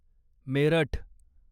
Meerut